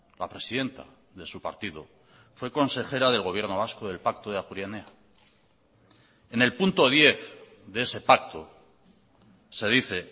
la presidenta de su partido fue consejera del gobierno vasco del pacto de ajuria enea en el punto diez de ese pacto se dice